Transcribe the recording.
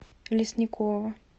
лесникова